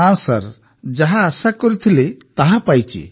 ନା ଯାହା ଆଶା କରିଥିଲି ତାହା ପାଇଛି